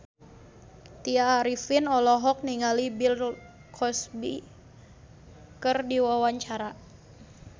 Tya Arifin olohok ningali Bill Cosby keur diwawancara